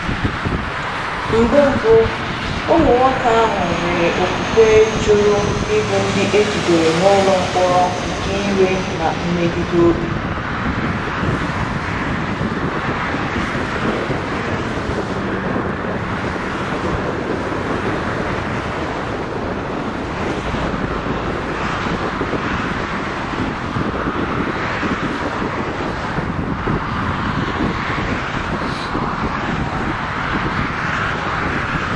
Mbụ, Mbụ, ụmụ nwoke ahụ nwere okwukwe jụrụ ịbụ ndị e jidere n’ụlọ mkpọrọ nke iwe na mmegide obi.